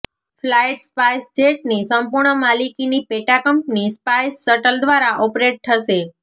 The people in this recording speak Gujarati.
ફ્લાઇટ સ્પાઇસજેટની સંપૂર્ણ માલિકીની પેટાકંપની સ્પાઇસ શટલ દ્વારા ઓપરેટ થશે